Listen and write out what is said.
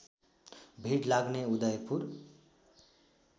भिड लाग्ने उदयपुर